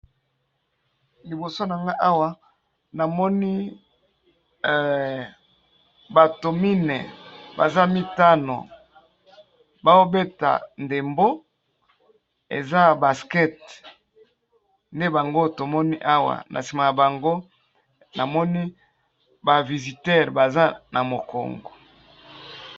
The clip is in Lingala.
Liboso nanga awa namoni bato minei baza mitano bao beta ndembo eza ya basket, nde bango tomoni awa na nsima ya bango namoni ba visiteurs baza na mokongo.